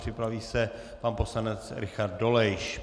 Připraví se pan poslanec Richard Dolejš.